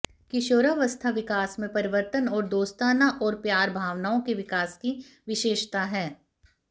किशोरावस्था विकास में परिवर्तन और दोस्ताना और प्यार भावनाओं के विकास की विशेषता है